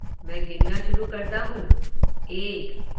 मैं गिनना शुरु करता हूँ, एक।